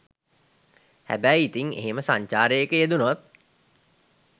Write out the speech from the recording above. හැබැයි ඉතින් එහෙම සංචාරයක යෙදුනොත්